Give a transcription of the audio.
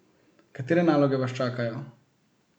Katere naloge vas čakajo?